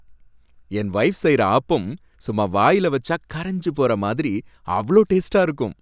என் wife செய்ற ஆப்பம், சும்மா வாய்ல வச்சா கரஞ்சு போற மாதிரி அவ்ளோ டேஸ்டா இருக்கும்.